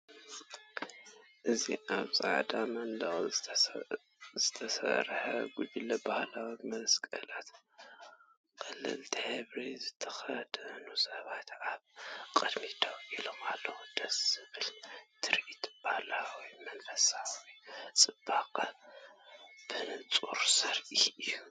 እዚ ኣብ ጻዕዳ መንደቕ ዝተሰርዐ ጉጅለ ባህላዊ መስቀላት፡ ቀለልቲ ሕብሪ ዝተኸድኑ ሰባት ኣብ ቅድሚት ደው ኢሎም ኣለው። ደስ ዘብል ትርኢት፡ ባህላውን መንፈሳውን ጽባቐ ብንጹር ዘርኢ እዩ።